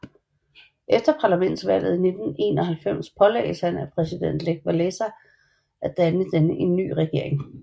Efter parlamentsvalget i 1991 pålagdes han af præsident Lech Wałęsa at danne en ny regering